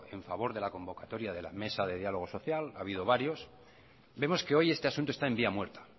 en favor de convocatoria de las mesas de diálogo social ha habido varios vemos que hoy este asunto está en vía muerta